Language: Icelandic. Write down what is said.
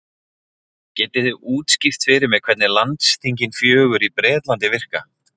Getið þið útskýrt fyrir mér hvernig landsþingin fjögur í Bretlandi virka?